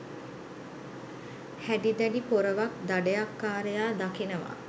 හැඩි දැඩි පොරවක් දඩයක්කාරයා දකිනවා